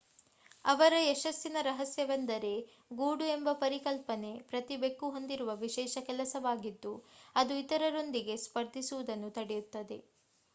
ಅವರ ಯಶಸ್ಸಿನ ರಹಸ್ಯವೆಂದರೆ ಗೂಡು ಎಂಬ ಪರಿಕಲ್ಪನೆ ಪ್ರತಿ ಬೆಕ್ಕು ಹೊಂದಿರುವ ವಿಶೇಷ ಕೆಲಸವಾಗಿದ್ದು ಅದು ಇತರರೊಂದಿಗೆ ಸ್ಪರ್ಧಿಸುವುದನ್ನು ತಡೆಯುತ್ತದೆ